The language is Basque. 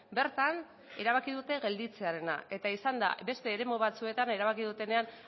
bertan erabaki dute gelditzearena eta izan da beste eremu batzuetan erabaki dutenean